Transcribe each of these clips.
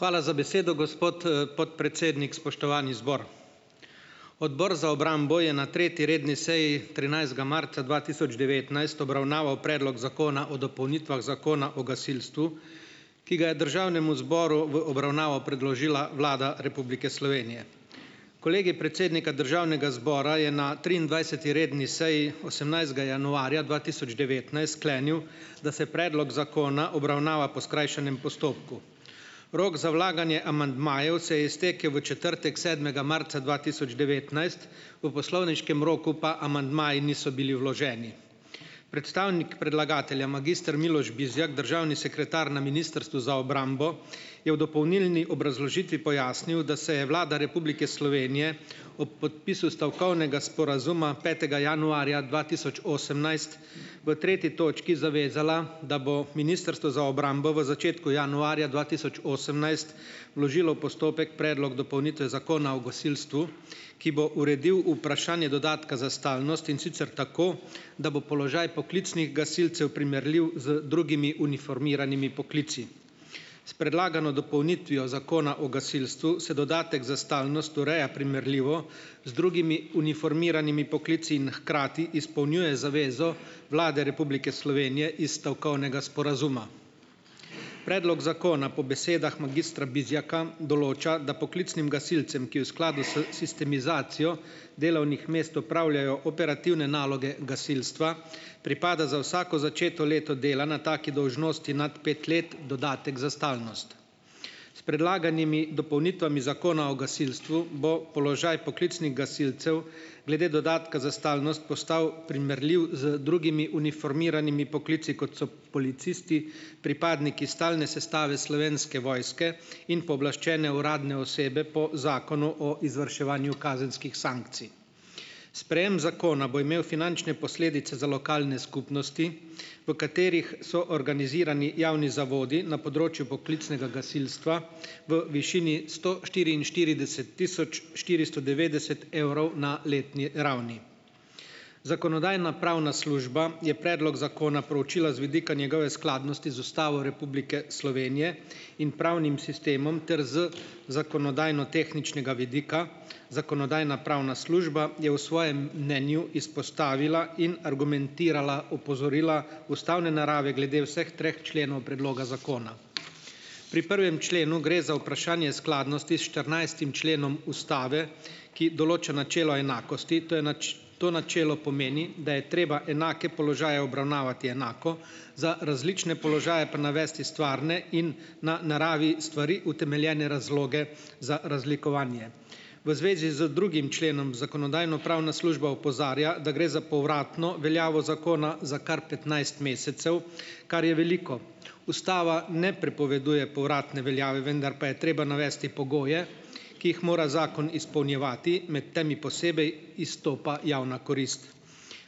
Hvala za besedo, gospod, podpredsednik. Spoštovani zbor! Odbor za obrambo je ne treti redni seji trinajstega marca dva tisoč devetnajst obravnaval predlog zakona o dopolnitvah Zakona o gasilstvu, ki ga je državnemu zboru v obravnavo predložila Vlada Republike Slovenije. Kolegij predsednika državnega zbora je na triindvajseti redni seji osemnajstega januarja dva tisoč devetnajst sklenil, da se predlog zakona obravnava po skrajšanem postopku. Rok za vlaganje amandmajev se je iztekel v četrtek sedmega marca dva tisoč devetnajst v poslovniškem roku pa amandmaji niso bili vloženi. Predstavnik predlagatelja, magister Miloš Bizjak, državni sekretar na Ministrstvu za obrambo, je v dopolnilni obrazložitvi pojasnil, da se je Vlada Republike Slovenije ob podpisu stavkovnega sporazuma petega januarja dva tisoč osemnajst v treti točki zavezala, da bo Ministrstvo za obrambo v začetku januarja dva tisoč osemnajst vložilo postopek predlog dopolnitve Zakona o gasilstvu, ki bo uredil vprašanje dodatka za stalnost, in sicer tako, da bo položaj poklicnih gasilcev primerljiv z drugimi uniformiranimi poklici. S predlagano dopolnitvijo Zakona o gasilstvu se dodatek za stalnost ureja primerljivo z drugimi uniformiranimi poklici in hkrati izpolnjuje zavezo Vlade Republike Slovenije iz stavkovnega sporazuma. Predlog zakona po besedah magistra Bizjaka določa, da poklicnim gasilcem, ki v skladu s sistemizacijo delovnih mest opravljajo operativne naloge gasilstva, pripada za vsako začeto leto dela na taki dolžnosti nad pet let dodatek za stalnost. Predlaganimi dopolnitvami zakona o gasilstvu bo položaj poklicnih gasilcev glede dodatka za stalnost postal primerljiv z drugimi uniformiranimi poklici, kot so policisti, pripadniki stalne sestave Slovenske vojske in pooblaščene uradne osebe po zakonu o izvrševanju kazenskih sankcij. Sprejem zakona bo imel finančne posledice za lokalne skupnosti, v katerih so organizirani javni zavodi na področju poklicnega gasilstva v višini sto štiriinštirideset tisoč štiristo devetdeset evrov na letni ravni. Zakonodajno-pravna služba je predlog zakona proučila z vidika njegove skladnosti z Ustavo Republike Slovenije in pravnim sistemom ter z zakonodajnotehničnega vidika. Zakonodajno-pravna služba je v svojem mnenju izpostavila in argumentirala, opozorila ustavne narave glede vseh treh členov predloga zakona. Pri prvem členu gre za vprašanje skladnosti s štirinajstim členom ustave, ki določa načelo enakosti. To načelo pomeni, da je treba enake položaje obravnavati enako, za različne položaje pa navesti stvarne in na naravi stvari utemeljene razloge za razlikovanje. V zvezi z drugim členom Zakonodajno-pravna služba opozarja, da gre za povratno veljavo zakona za kar petnajst mesecev, kar je veliko. Ustava ne prepoveduje povratne veljave, vendar pa je treba navesti pogoje, ki jih mora zakon izpolnjevati, med temi posebej izstopa javna korist.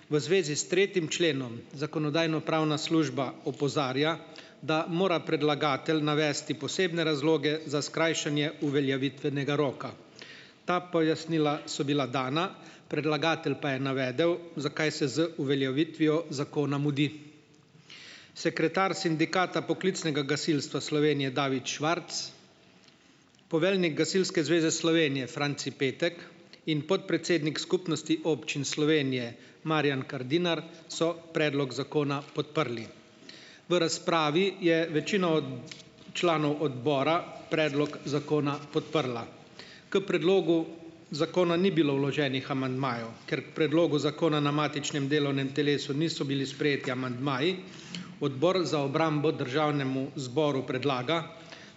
V zvezi s tretjim členom Zakonodajno-pravna služba opozarja, da mora predlagatelj navesti posebne razloge za skrajšanje uveljavitvenega roka. Ta pojasnila so bila dana, predlagatelj pa je navedel, zakaj se z uveljavitvijo zakona mudi. Sekretar sindikata poklicnega gasilstva Slovenije, David Švarc, poveljnik Gasilske zveze Slovenije, Franci Petek, in podpredsednik Skupnosti občin Slovenije, Marjan Kardinar, so predlog zakona podprli. V razpravi je večina članov odbora predlog zakona podprla. K predlogu zakona ni bilo vloženih amandmajev. Ker k predlogu zakona na matičnem delovnem telesu niso bili sprejeti amandmaji, Odbor za obrambo državnemu zboru predlaga,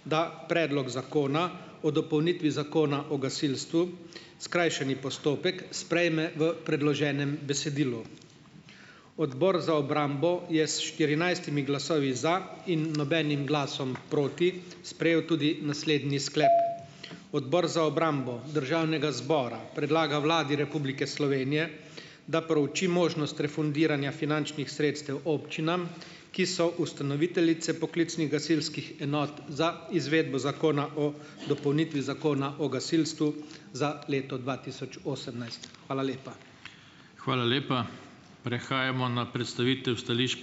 da Predlog zakona o dopolnitvi Zakona o gasilstvu, skrajšani postopek, sprejme v predloženem besedilu. Odbor za obrambo je s štirinajstimi glasovi za in nobenim glasom proti sprejel tudi naslednji sklep: Odbor za obrambo Državnega zbora predlaga Vladi Republike Slovenije, da prouči možnost refundiranja finančnih sredstev občinam, ki so ustanoviteljice poklicnih gasilskih enot za izvedbo zakona o dopolnitvi Zakona o gasilstvu za leto dva tisoč osemnajst Hvala lepa.